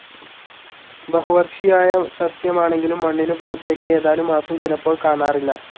ബഹുവർഷിയായ സസ്യമാണെങ്കിലും മണ്ണിനു പുറത്തേക്ക് ഏതാനും മാസം ചിലപ്പോൾ കാണാറില്ല.